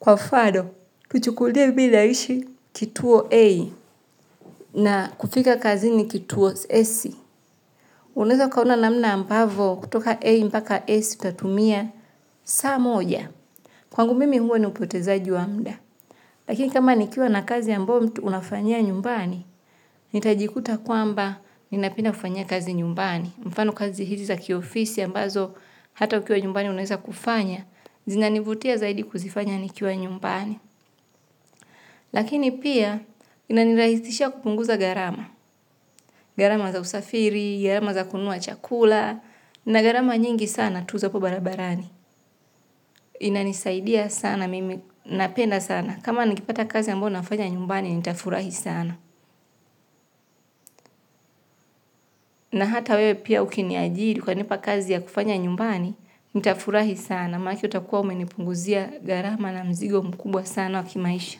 Kwa mfano, kuchukulie mimina ishi kituo A na kufika kazi ni kituo S. Unaweza ukaona namna ambavyo kutoka A mpaka S utatumia saa moja. Kwa ngumimi huo ni upote za jiwamuda. Lakini kama nikiwa na kazi a mbayomtu unafanyia nyumbani, nitajikuta kwamba ninapenda kufanyia kazi nyumbani. Mfano kazi hizi za kiofisi ambazo hata ukiwa nyumbani unaweza kufanya, zinanivutia zaidi kuzifanya nikiwa nyumbani. Lakini pia, inanirahisisha kupunguza gharama. Gharama za usafiri, gharama za kununua chakula, na gharama nyingi sana tuza po barabarani. Inanisaidia sana, mimi napenda sana. Kama nikipata kazi ambayo nafanya nyumbani, nitafurahi sana. Na hata wewe pia ukiniajiri uka nipa kazi ya kufanya nyumbani nitafurahi sana, maanake utakuwa umenipunguzia gharama na mzigo mkubwa sana wa kimaisha.